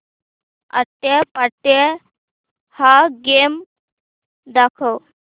आट्यापाट्या हा गेम दाखव